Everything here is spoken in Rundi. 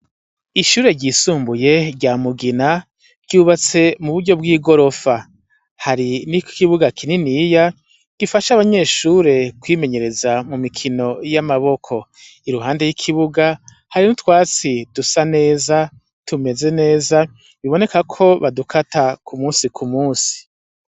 Ishure ryisumbuye rya mugina ryubatse mu buryo bw'i gorofa hari niko ikibuga kininiya gifasha abanyeshure kwimenyereza mu mikino y'amaboko i ruhande y'ikibuga hari n'utwatsi dusa neza tumeze neza biboneka ko badukata ku musi kumwe musi.